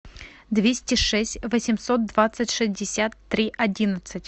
двести шесть восемьсот двадцать шестьдесят три одиннадцать